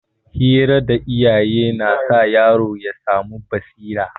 Hira da iyaye na sa yaro ya samu basira.